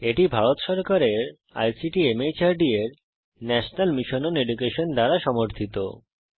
এটি ভারত সরকারের আইসিটি মাহর্দ এর ন্যাশনাল মিশন ওন এডুকেশন দ্বারা সমর্থিত